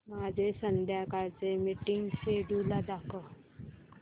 माझे संध्याकाळ चे मीटिंग श्येड्यूल दाखव